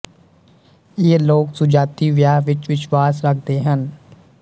ਇਹ ਲੋਕ ਸੁਜਾਤੀ ਵਿਆਹ ਵਿੱਚ ਵਿਸ਼ਵਾਸ ਰੱਖਦੇ ਹਨ